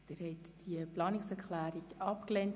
Sie haben die Planungserklärung 1 abgelehnt.